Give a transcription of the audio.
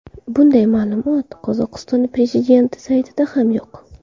Bunday ma’lumot Qozog‘iston prezidenti saytida ham yo‘q.